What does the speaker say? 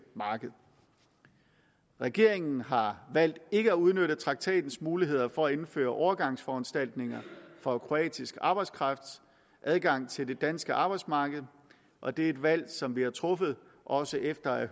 marked regeringen har valgt ikke at udnytte traktatens muligheder for at indføre overgangsforanstaltninger for kroatisk arbejdskrafts adgang til det danske arbejdsmarked og det er et valg som vi har truffet også efter at